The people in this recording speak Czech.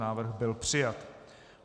Návrh byl přijat.